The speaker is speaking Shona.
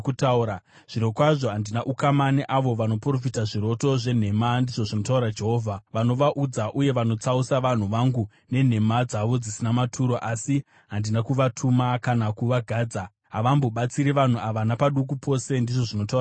Zvirokwazvo handina ukama neavo vanoprofita zviroto zvenhema,” ndizvo zvinotaura Jehovha. “Vanovaudza uye vanotsausa vanhu vangu nenhema dzavo dzisina maturo, asi handina kuvatuma kana kuvagadza. Havambobatsiri vanhu ava napaduku pose,” ndizvo zvinotaura Jehovha.